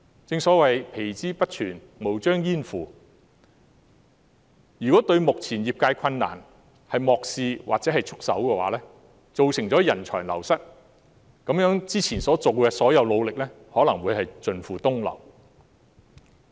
正所謂"皮之不存，毛將焉附"，如果政府漠視業界目前的困難或束手不顧，便會造成人才流失，那麼之前的所有努力便可能會盡付東流。